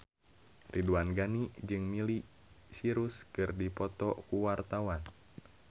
Ridwan Ghani jeung Miley Cyrus keur dipoto ku wartawan